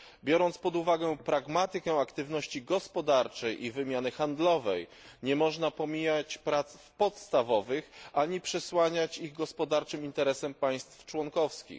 Biorąc pod uwagę pragmatykę aktywności gospodarczej i wymiany handlowej, nie można pomijać prac podstawowych ani przesłaniać ich gospodarczym interesem państw członkowskich.